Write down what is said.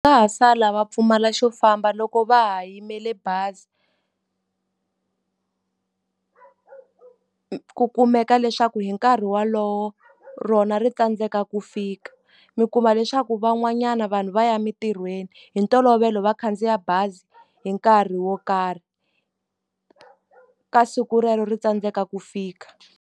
Va ha sala va pfumala xo famba loko va ha yimele bazi ku kumeka leswaku hi nkarhi wolowo, rona ri tsandzeka ku fika. Mi kuma leswaku van'wanyana vanhu va ya emitirhweni, hi ntolovelo va khandziya bazi hi nkarhi wo karhi. Ka siku relero ri tsandzeka ku fika.